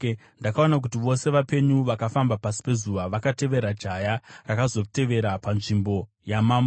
Ndakaona kuti vose vapenyu vakafamba pasi pezuva vakatevera jaya, rakazotevera panzvimbo yamambo.